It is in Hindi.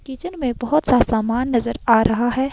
किचन में बहुत सा सामान नजर आ रहा है।